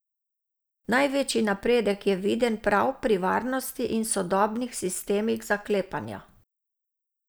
Največji napredek je viden prav pri varnosti in sodobnih sistemih zaklepanja.